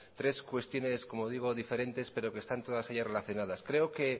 tres cuestiones diferentes pero que están todas ellas relacionadas creo que